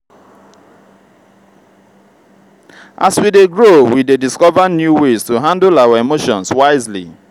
as we dey grow we dey discover new ways to handle our emotions wisely.